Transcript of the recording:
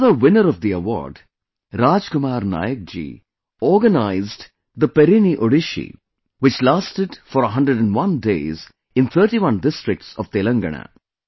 Another winner of the award, Raj Kumar Nayak ji, organized the Perini Odissi, which lasted for 101 days in 31 districts of Telangana